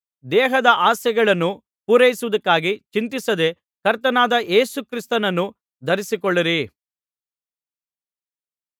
ದೇಹದ ಆಸೆಗಳನ್ನು ಪೂರೈಸುವುದಕ್ಕಾಗಿ ಚಿಂತಿಸದೇ ಕರ್ತನಾದ ಯೇಸು ಕ್ರಿಸ್ತನನ್ನು ಧರಿಸಿಕೊಳ್ಳಿರಿ